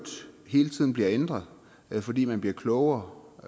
hele tiden bliver ændret fordi man bliver klogere